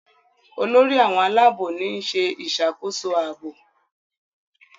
Olórí àwọn Àlàabò ni ṣe ìṣàkóso ààbò.